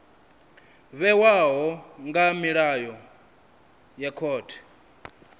vhewaho nga milayo ya khothe